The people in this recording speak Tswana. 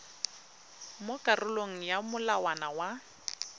mo karolong ya molawana wa